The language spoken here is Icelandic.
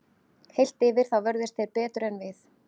Heilt yfir þá vörðust þeir betur en við.